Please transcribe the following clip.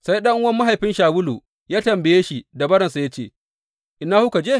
Sai ɗan’uwan mahaifin Shawulu ya tambaye shi da baransa ya ce, Ina kuka je?